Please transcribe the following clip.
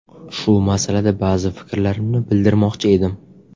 Shu masalada ba’zi fikrlarimni bildirmoqchi edim.